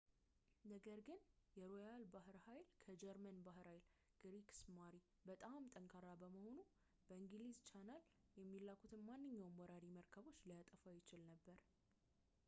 ነገር ግን የሮያል ባሕር ኃይል ከጀርመን የባሕር ኃይል ክሪግስማሪን” በጣም ጠንካራ በመሆኑ በእንግሊዝ ቻናል የሚላኩትን ማንኛውንም ወራሪ መርከቦችን ሊያጠፋ ይችል ነበር